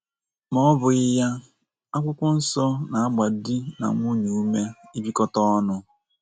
Ma ọ ọ bụghị ya, akwụkwọnsọ na - agba di na nwunye ume ịbikọta ọnụ.